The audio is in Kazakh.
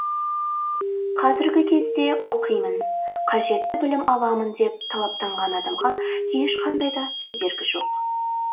қазіргі кезде оқимын қажетті білім аламын деп талаптанған адамға ешқандай да кедергі жоқ